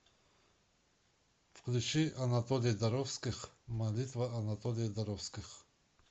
включи анатолий доровских молитва анатолия доровских